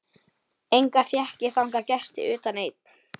Enga fékk ég þangað gesti utan einn.